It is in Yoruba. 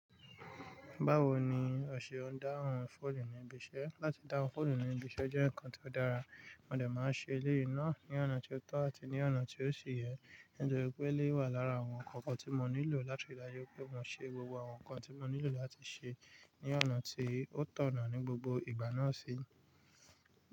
Báwo ni ọ̀sẹ̀ n dáhùn fóònù níbi iṣẹ́ láti dáhùn fóònù níbi iṣẹ́ jẹ́ ǹkan tó dára, mo dẹ̀ máa ṣe léyi náà ní ọ̀nà tó tọ̀ àti ní ọ̀nà tí ó ṣi yẹ, nítorí pé ilé wà lára àwọn ǹkan kan tí mo nílò láti ridájú pé mo ṣe gbogbo àwọn ǹkan tí mo nílò láti ṣe ní ọ̀nà tí ó tọ̀nà ní gbogbo ìgbà náà si.